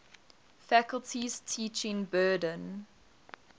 faculty's teaching burden